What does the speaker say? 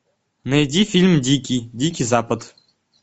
найди фильм дикий дикий запад